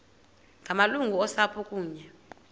ngamalungu osapho kunye